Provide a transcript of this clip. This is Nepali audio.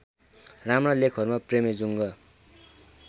राम्रा लेखहरूमा प्रेमेजुङ्ग